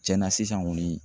Tiɲɛnna sisan kɔni